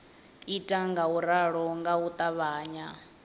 ita ngauralo nga u ṱavhanya